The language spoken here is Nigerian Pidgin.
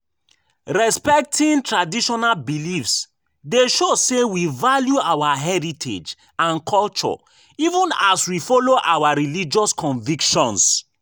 Respecting traditional beliefs dey show say we value our heritage and culture even as we follow our religious convictions.